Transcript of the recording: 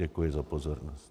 Děkuji za pozornost.